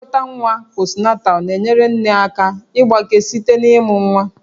Nlekọta nwa postnatal na-enyere nne aka ịgbake site na ịmụ nwa